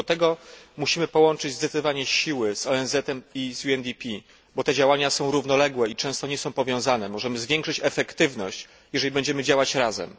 W tym celu musimy połączyć zdecydowanie siły z ONZ em i z UNDP, bo te działania są równoległe i często nie są powiązane. Możemy zwiększyć efektywność, jeżeli będziemy działać razem.